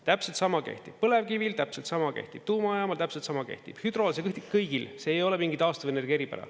Täpselt sama kehtib põlevkivil, täpselt sama kehtib tuumajaamal, täpselt sama kehtib hüdrol, see kehtib kõigil, see ei ole mingi taastuvenergia eripära.